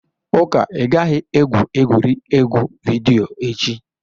Uka, ị gaghị egwu egwuregwu vidiyo echi!